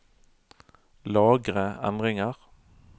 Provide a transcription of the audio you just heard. Lagre endringer